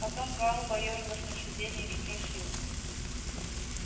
потом гаал поёрзав на сидении спросил